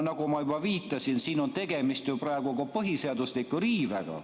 Nagu ma juba viitasin, on siin praegu tegemist ka põhiseadusliku riivega.